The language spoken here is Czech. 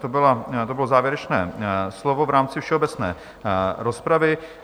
To bylo závěrečné slovo v rámci všeobecné rozpravy.